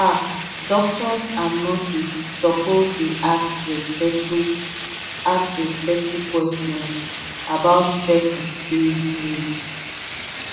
ah doctors and nurses suppose dey ask respectful ask respectful questions about person spirit needs